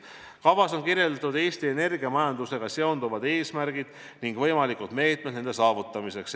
Kavas on kirjas Eesti energiamajandusega seonduvad eesmärgid ning võimalikud meetmed nende saavutamiseks.